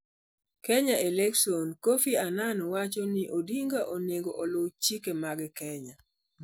Kenya Elections: Kofi Annan wacho ni Odinga onego oluw chike mag Kenya